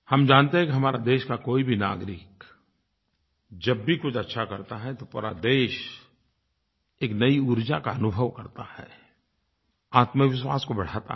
हम जानते हैं कि हमारे देश का कोई भी नागरिक जब भी कुछ अच्छा करता है तो पूरा देश एक नई ऊर्जा का अनुभव करता है आत्मविश्वास को बढ़ाता है